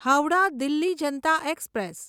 Howrah Delhi Janata express